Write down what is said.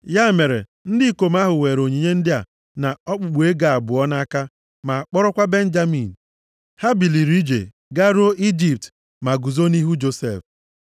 Ya mere, ndị ikom ahụ weere onyinye ndị a, na okpukpu ego abụọ nʼaka, ma kpọrọkwa Benjamin. Ha biliri ije. Garuo Ijipt, ma guzo nʼihu Josef.